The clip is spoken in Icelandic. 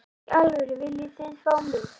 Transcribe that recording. Í alvörunni, viljið þið fá mig?